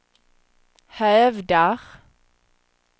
hävdar